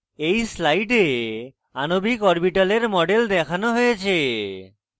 এই slide আণবিক orbitals models দেখানো হয়েছে